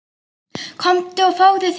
Komdu og fáðu þér bollur.